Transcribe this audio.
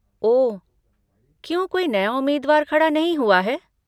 ओह, क्यों कोई नया उम्मीदवार खड़ा नहीं हुआ है?